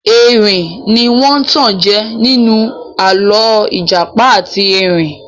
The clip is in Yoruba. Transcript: Erin ní wọ́n tanjẹ ninu alọ ìjàpá àti erin.